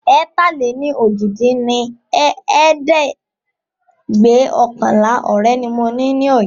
ẹ̀ta-lé-ní-ojì dín ní ẹ̀ẹ́dẹ́gbẹ́ọ̀kànlá ọ̀rẹ́ ni mo ní Ọ̀yọ́